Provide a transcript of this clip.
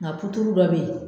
Nka puturu dɔ bɛ ye.